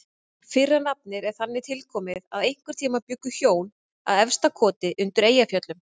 Fyrra nafnið er þannig tilkomið að einhvern tíma bjuggu hjón að Efstakoti undir Eyjafjöllum.